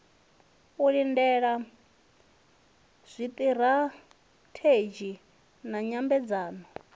u lindela zwiṱirathedzhi na nyambedzano